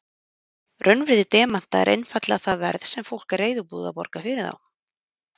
Raunvirði demanta er einfaldlega það verð sem fólk er reiðubúið að borga fyrir þá.